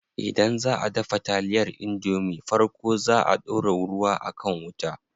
Idan zaʼa dafa taliyar indomie farko zaa a ɗora ruwa a kan wuta.